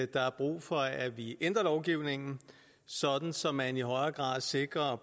der er brug for at vi ændrer lovgivningen så så man i højere grad sikrer